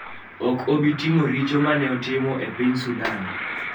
ok obi timo richo ma ne otimo e piny Sudan.